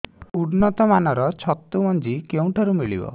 ଉନ୍ନତ ମାନର ଛତୁ ମଞ୍ଜି କେଉଁ ଠାରୁ ମିଳିବ